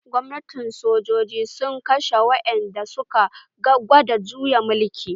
Gwamnatin sojoji sun kashe wa'ƴan da suka gwada juyin mulki.